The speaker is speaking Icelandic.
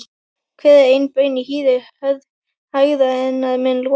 Hver ein baun í hýði hörð hægðirnar mun losa.